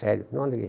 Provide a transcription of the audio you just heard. Sério, não aluguei.